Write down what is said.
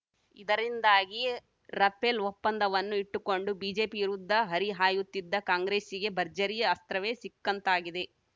ಇದರಿಂದಾಗಿ ರಪೇಲ್‌ ಒಪ್ಪಂದವನ್ನು ಇಟ್ಟುಕೊಂಡು ಬಿಜೆಪಿ ವಿರುದ್ಧ ಹರಿಹಾಯುತ್ತಿದ್ದ ಕಾಂಗ್ರೆಸ್ಸಿಗೆ ಭರ್ಜರಿ ಅಸ್ತ್ರವೇ ಸಿಕ್ಕಂತಾಗಿದೆ